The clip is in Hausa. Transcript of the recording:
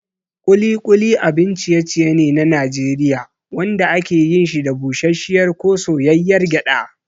Ƙuli ƙuli abin ciye-ciye ne na Najeriya wanda ake yin shi da busasshiyar ko soyayyar gyada.